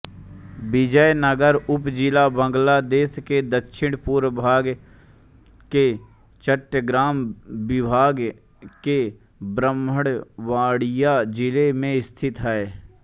बिजय़नगर उपजिला बांग्लादेश के दक्षिणपूर्वी भाग में चट्टग्राम विभाग के ब्राह्मणबाड़िय़ा जिले में स्थित है